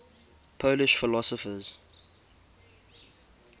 polish philosophers